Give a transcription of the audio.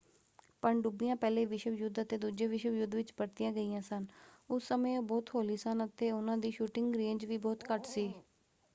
ਪਣਡੁੱਬੀਆਂ ਪਹਿਲੇ ਵਿਸ਼ਵ ਯੁੱਧ ਅਤੇ ਦੂਜੇ ਵਿਸ਼ਵ ਯੁੱਧ ਵਿੱਚ ਵਰਤੀਆਂ ਗਈਆਂ ਸਨ। ਉਸ ਸਮੇਂ ਉਹ ਬਹੁਤ ਹੌਲੀ ਸਨ ਅਤੇ ਉਹਨਾਂ ਦੀ ਸ਼ੂਟਿੰਗ ਰੇਂਜ ਵੀ ਬਹੁਤ ਘੱਟ ਸੀ।